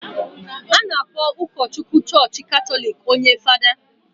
a na-akpọ ụkọchukwu chọọchị Katọlik onye Fada